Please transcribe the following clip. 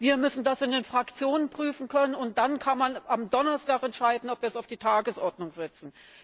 Wir müssen das in den Fraktionen prüfen können, und dann kann man am Donnerstag entscheiden, ob wir es auf die Tagesordnung setzen.